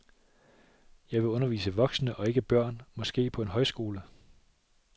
Jeg vil undervise voksne og ikke børn, måske på en højskole.